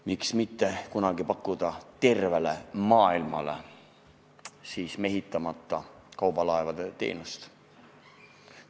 Miks näiteks mitte pakkuda kunagi tervele maailmale mehitamata kaubalaevade teenust?